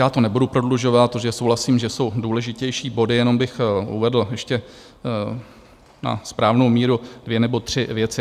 Já to nebudu prodlužovat, protože souhlasím, že jsou důležitější body, jenom bych uvedl ještě na správnou míru dvě nebo tři věci.